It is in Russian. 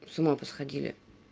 с ума посходили